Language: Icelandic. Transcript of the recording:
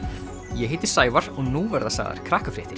ég heiti Sævar og nú verða sagðar